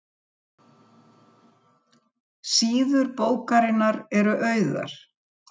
Nemandinn var í raun þaulæfður leikari sem lék viðbrögðin þegar kennarinn veitti honum ímyndað rafstuð.